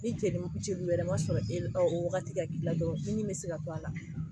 Ni joli wɛrɛ maa sɔrɔ o waati ka k'i la dɔrɔn i ni bɛ se ka to a la